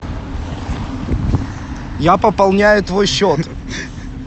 я пополняю твой счет